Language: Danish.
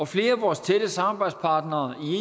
flere af vores tætte samarbejdspartnere